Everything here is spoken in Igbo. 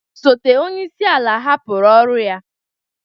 Osote onye isi ala hapụrụ ọrụ ya